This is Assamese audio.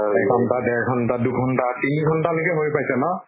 এক ঘন্টা ডেৰ ঘন্টা দু ঘন্টা তিনি ঘন্টা লৈ হৈ পাইছে ন?